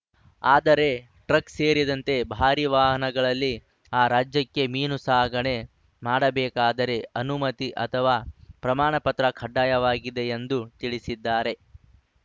ಆದರೆ ಟ್ರಕ್‌ ಸೇರಿದಂತೆ ಭಾರೀ ವಾಹನಗಳಲ್ಲಿ ಆ ರಾಜ್ಯಕ್ಕೆ ಮೀನು ಸಾಗಣೆ ಮಾಡಬೇಕಾದರೆ ಅನುಮತಿ ಅಥವಾ ಪ್ರಮಾಣ ಪತ್ರ ಕಡ್ಡಾಯವಾಗಿದೆ ಎಂದು ತಿಳಿಸಿದ್ದಾರೆ